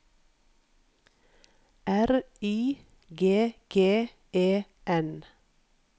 R Y G G E N